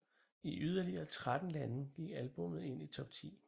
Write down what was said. I yderligere 13 lande gik albummet ind i top 10